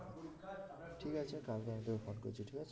ঠিক আছে কালকে আমি তোকে ফোন করছি ঠিক আছে